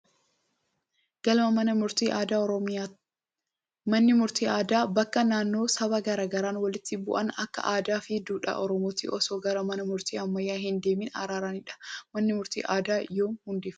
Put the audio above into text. Galma mana murtii aadaa Oromiyaa. Manni murtii aadaa bakka namoonni sababa garaa garaan walitti bu'an akka aadaa fi duudhaa Oromootti osoo gara mana murtii ammayyaa hin deemiin araaramanidha. Manni murtii aadaa yoom hundeeffame?